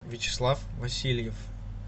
вячеслав васильев